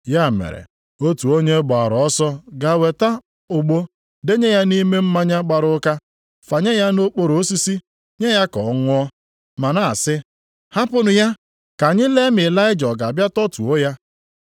Ya mere, otu onye gbaara ọsọ gaa weta ogbo, denye ya nʼime mmanya gbara ụka, fanye ya na okporo osisi, nye ya ka ọ ṅụọ, ma na-asị, “Hapụnụ ya, ka anyị lee ma Ịlaịja ọ ga-abịa tọtuo ya.”